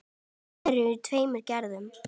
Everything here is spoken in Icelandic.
Þær eru af tveimur gerðum.